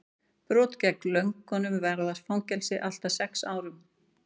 brot gegn lögunum varða fangelsi allt að sex árum